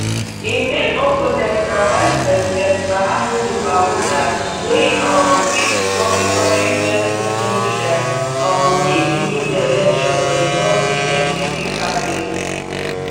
im main opponent na vicepresident mahamudu bawumia wey um fit become di kontri first muslim leader um if e win di election for di governing npp party